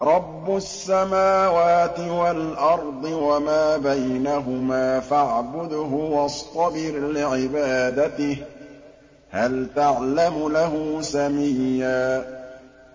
رَّبُّ السَّمَاوَاتِ وَالْأَرْضِ وَمَا بَيْنَهُمَا فَاعْبُدْهُ وَاصْطَبِرْ لِعِبَادَتِهِ ۚ هَلْ تَعْلَمُ لَهُ سَمِيًّا